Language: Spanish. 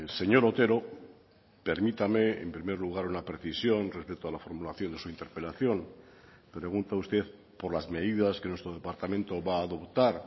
señor otero permítame en primer lugar una precisión respecto a la formulación de su interpelación pregunta usted por las medidas que nuestro departamento va a adoptar